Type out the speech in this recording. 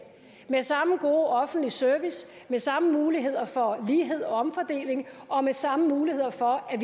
med samme gode offentlige service med samme muligheder for lighed og omfordeling og med samme muligheder for at